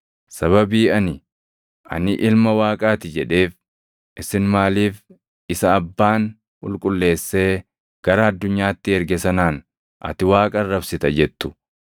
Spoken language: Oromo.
sababii ani, ‘Ani ilma Waaqaa ti’ jedheef, isin maaliif isa Abbaan qulqulleessee gara addunyaatti erge sanaan ‘Ati Waaqa arrabsita’ jettu?